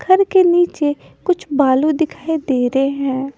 घर के नीचे कुछ बालू दिखाई दे रहे हैं।